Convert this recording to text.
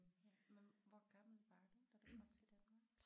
Ja hvor hvor gammel var du da du kom til Danmark?